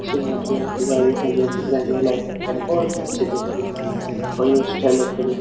अच्छी मॉडलिंग की गाडी है जो जिसमे जो लाईटिंग करी और अच्छी है और ये स्टाइलर --